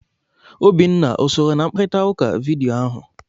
Obinna o sooro na mkparịta ụka vidiyo ahụ?